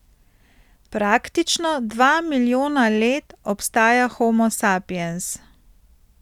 Praktično dva milijona let obstaja homo sapiens.